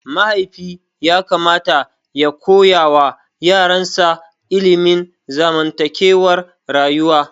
Mahaifi yakamata ya koyawa yaransa ilimin zamantakewar rayuwa.